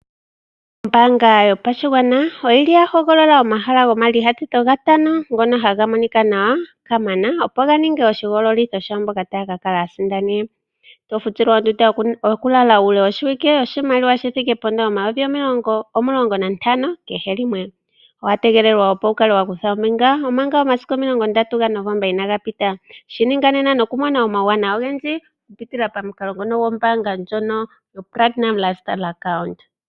Oombaanga yo pashigwana oyili ya hogolola omahala gomayinyanyudho ngono haga monika nawa kamana. Opo ga ninge oshihogololitho shaa mboka taya ka kala ya sindana, to futilwa ondunda yoku lala uule wo shiwike, oshimaliwa shithike pomayovi omulongo nantano kehe limwe. Owa tegelelwa opo wu kale wa kutha ombinga omanga omasiku omilongo ndatu ga Novomba inaga pita. Shi ninga nena noku mona omauwanawa ogendji oku pitila pamukalo ngono gombaanga ndjono yo Platinum Lifestyle account.